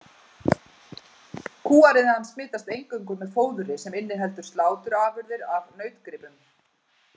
Kúariðan smitast eingöngu með fóðri sem inniheldur sláturafurðir af nautgripum.